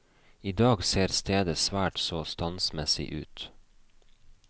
I dag ser stedet svært så standsmessig ut.